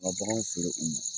Ka kɔnɔw feere u